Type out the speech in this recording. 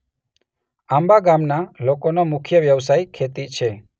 આંબા ગામના લોકોનો મુખ્ય વ્યવસાય ખેતી છે.